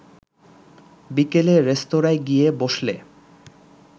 বিকেলে রেস্তোরাঁয় গিয়ে বসলে